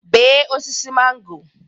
bee osisi mango